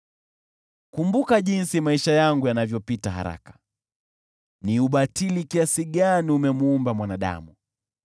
Kumbuka jinsi maisha yangu yanavyopita haraka. Ni kwa ubatili kiasi gani umemuumba mwanadamu!